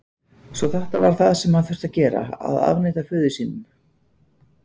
Svo þetta var það sem hann þurfti að gera: Að afneita föður sínum?